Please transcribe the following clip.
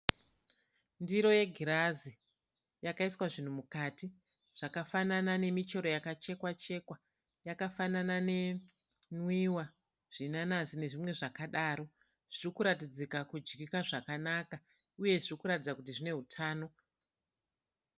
Ndiro yegirazi yakaiswa zvinhu mukati zvakafanana nemichero yakachekwa chekwa yakafanana nenwiwa , zvinanazi nezvimwe zvakadaro. Zviri kuratidzika kudyika zvakanaka uye zviri kuratidza kuti zvine hutano.